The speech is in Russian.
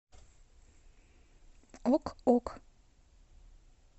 ок ок